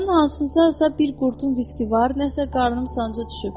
Uşaqların hansısa bir qurdun viskisi var, nəsə qarnım sancıya düşüb.